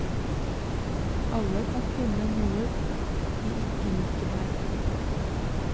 Alle kan finne noe de liker her.